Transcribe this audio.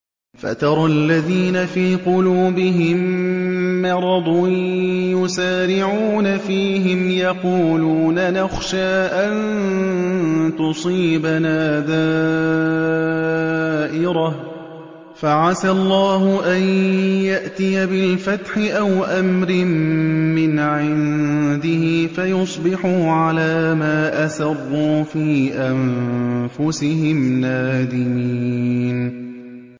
فَتَرَى الَّذِينَ فِي قُلُوبِهِم مَّرَضٌ يُسَارِعُونَ فِيهِمْ يَقُولُونَ نَخْشَىٰ أَن تُصِيبَنَا دَائِرَةٌ ۚ فَعَسَى اللَّهُ أَن يَأْتِيَ بِالْفَتْحِ أَوْ أَمْرٍ مِّنْ عِندِهِ فَيُصْبِحُوا عَلَىٰ مَا أَسَرُّوا فِي أَنفُسِهِمْ نَادِمِينَ